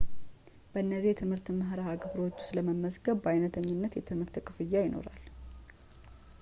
በእነዚህ የትምህርት መርሃ ግብሮች ውስጥ ለመመዝገብ በአይነተኝነት የትምህርት ክፍያ ይኖራል